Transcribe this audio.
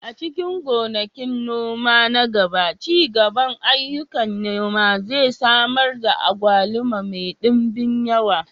A cikin gonakin noma na gaba, ci gaban ayyukan noma zai samar da agwaluma mai ɗimbin yawa.